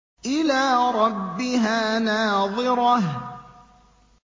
إِلَىٰ رَبِّهَا نَاظِرَةٌ